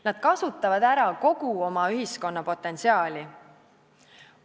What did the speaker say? Nad kasutavad ära kogu oma ühiskonna potentsiaali.